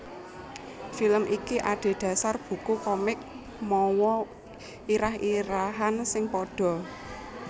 Film iki adhedhasar buku komik mawa irah irahan sing padha